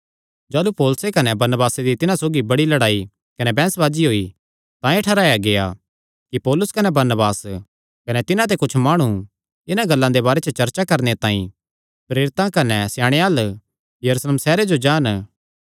जाह़लू पौलुसे कने बरनबासे दी तिन्हां सौगी बड़ी लड़ाई कने बैंह्सबाजी होई तां एह़ ठैहराया गेआ कि पौलुस कने बरनबास कने तिन्हां ते कुच्छ माणु इन्हां गल्लां दे बारे च चर्चा करणे तांई प्रेरितां कने स्याणेयां अल्ल यरूशलेम सैहरे जो जान